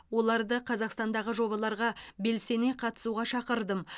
оларды қазақстандағы жобаларға белсене қатысуға шақырдым